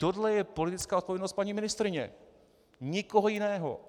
Tohle je politická odpovědnost paní ministryně, nikoho jiného.